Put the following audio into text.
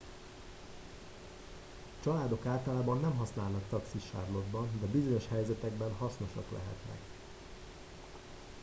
családok általában nem használnak taxit charlotte ban de bizonyos helyzetekben hasznosak lehetnek